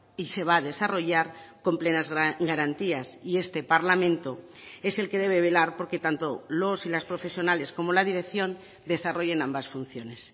y se va a desarrollar con plenas garantías y este parlamento es el que debe velar porque tanto los y las profesionales como la dirección desarrollen ambas funciones